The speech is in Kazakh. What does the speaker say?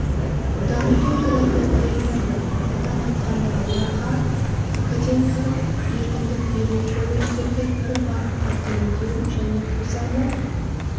дамыту туралы баяндады атап айтқанда ларға академиялық еркіндік беру колледждерді бір бағытқа бейіндеу және қосарлы